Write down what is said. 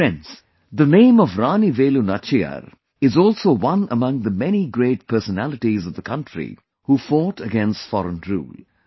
Friends, the name of Rani Velu Nachiyar is also one among the many great personalities of the country who fought against foreign rule